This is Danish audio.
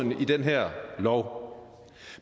i den her lov